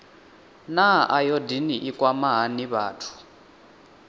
naa ayodini i kwama hani vhathu